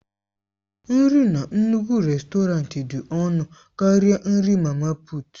Nri na nnukwu rèstọrantị dị ọnụ karịa nri mama puut.